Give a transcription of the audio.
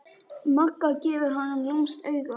Magga gefur honum lúmskt auga.